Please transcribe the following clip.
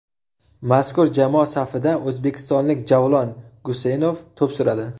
Mazkur jamoa safida o‘zbekistonlik Javlon Guseynov to‘p suradi .